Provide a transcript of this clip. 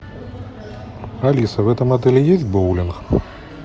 алиса в этом отеле есть боулинг